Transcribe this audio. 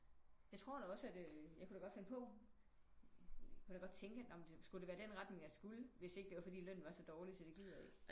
Jeg tror da også at øh jeg kunne da godt finde på jeg kunne da godt tænke nårh men skulle det være den retning jeg skulle hvis ikke lønnen den var så dårligt så det gider jeg ikke